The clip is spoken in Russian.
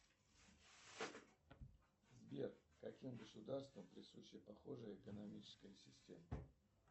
сбер каким государствам присуща похожая экономическая система